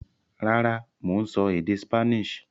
Rárá, mò ń sọ èdè Spanish